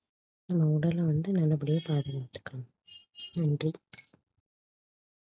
நம்ம உடலை வந்து நல்லபடியா பாதுகாத்துக்ணும் நன்றி